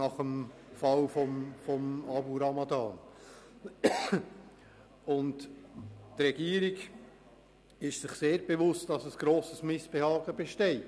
Die Regierung ist sich sehr bewusst, dass ein grosses Missbehagen besteht.